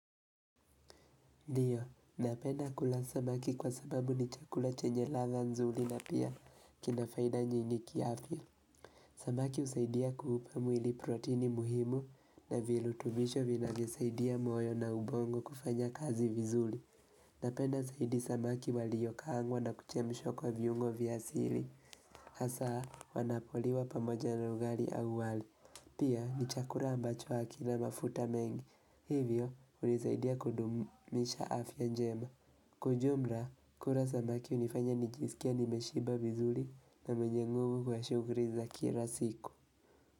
Ndiyo, napenda kula samaki kwa sababu ni chakula chenye ladha nzuli na pia kinafaida nyingi kiafya Samaki usaidia kuupa mwili protini muhimu na vilutubisho vinavyosaidia moyo na ubongo kufanya kazi vizuli. Napenda zaidi samaki waliyokaangwa na kuchemshwa kwa viungo vya asili. Hasa wanapoliwa pamoja na ugari au wali. Pia ni chakura ambacho hakina mafuta mengi Hivyo hunizaidia kudumisha afya njema Kwa ujumra kura zamaki unifanya nijisikie nimeshiba vizuli na mwenye nguvu kwa shugri za kira siku.